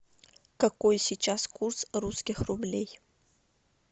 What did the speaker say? какой сейчас курс русских рублей